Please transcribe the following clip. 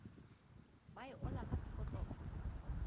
ba e ola ka sekotlolo